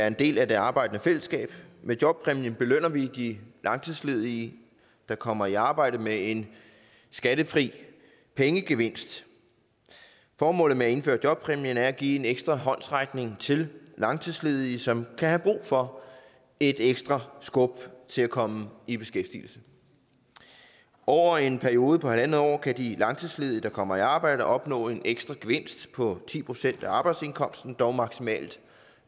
en del af det arbejdende fællesskab med jobpræmien belønner vi de langtidsledige der kommer i arbejde med en skattefri pengegevinst formålet med at indføre jobpræmien er at give en ekstra håndsrækning til langtidsledige som kan have brug for et ekstra skub til at komme i beskæftigelse over en periode på halv år kan de langtidsledige der kommer i arbejde opnå en ekstra gevinst på ti procent af arbejdsindkomsten dog maksimalt